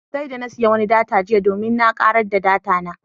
Sai da na siya wani data jiya domin na kare data na.